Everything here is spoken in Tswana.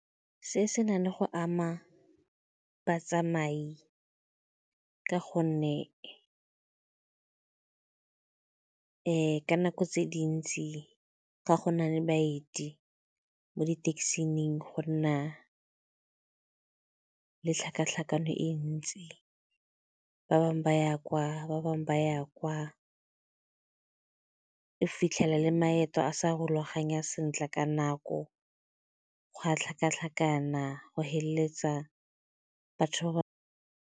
Se se nang le go ama batsamai ka gonne ka nako tse dintsi ga gona le baeti mo di-taxi-ing go nna le tlhakatlhakano e ntsi, ba bangwe ba ya kwa, ba bangwe ba ya kwa. O fitlhela le maeto a sa rulaganya sentle ka nako, go a tlhakatlhakana, go feleletsa batho ba ba.